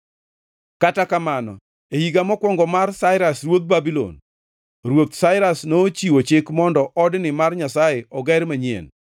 Kata kamano, e higa mokwongo mar Sairas ruodh Babulon, Ruoth Sairas nochiwo chik mondo odni mar Nyasaye oger manyien.